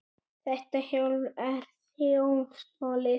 Þetta hjól er þjófstolið!